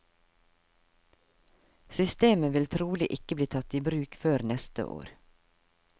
Systemet vil trolig ikke bli tatt i bruk før neste år.